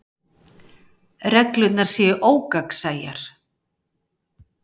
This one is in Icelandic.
Reglurnar séu ógagnsæjar